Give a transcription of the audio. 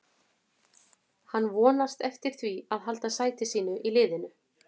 Hann vonast eftir því að halda sæti sínu í liðinu.